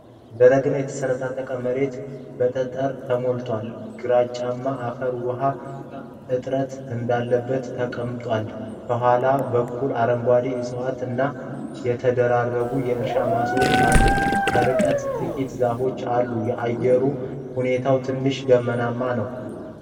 ደረቅና የሰነጣጠቀ መሬት በጠጠር ተሞልቷል። ግራጫማው አፈር ውሃ እጥረት እንዳለበት ተቀምጧል። ከኋላ በኩል አረንጓዴ ዕፅዋት እና የተደራረቡ የእርሻ ማሳዎች አሉ። ከርቀት ጥቂት ዛፎች አሉ። የአየሩ ሁኔታ ትንሽ ደመናማ ነው።